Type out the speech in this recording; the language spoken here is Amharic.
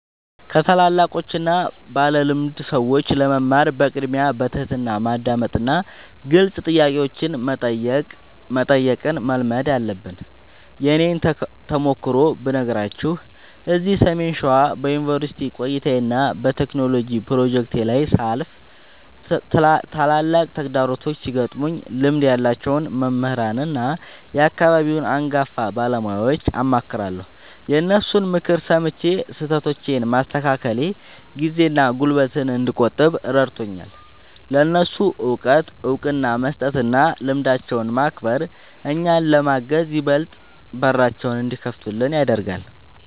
ከታላላቆችና ባለልምድ ሰዎች ለመማር በቅድሚያ በትሕትና ማዳመጥንና ግልጽ ጥያቄዎችን መጠየቅን መልመድ አለብን። የእኔን ተሞክሮ ብነግራችሁ፤ እዚህ ሰሜን ሸዋ በዩኒቨርሲቲ ቆይታዬና በቴክኖሎጂ ፕሮጀክቶቼ ላይ ሳልፍ፣ ትላልቅ ተግዳሮቶች ሲገጥሙኝ ልምድ ያላቸውን መምህራንና የአካባቢውን አንጋፋ ባለሙያዎችን አማክራለሁ። የእነሱን ምክር ሰምቼ ስህተቶቼን ማስተካከሌ ጊዜና ጉልበት እንድቆጥብ ረድቶኛል። ለእነሱ እውቀት እውቅና መስጠትና ልምዳቸውን ማክበር፣ እኛን ለማገዝ ይበልጥ በራቸውን እንዲከፍቱልን ያደርጋል።